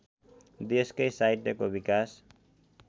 देशकै साहित्यको विकास